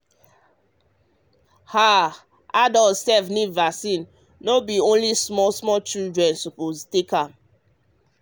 um ah adult sef need vaccine no be only small children suppose take am.